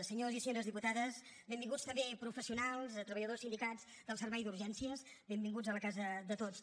senyors i senyores diputades benvinguts també professionals treballadors sindicats del servei d’urgències benvinguts a la casa de tots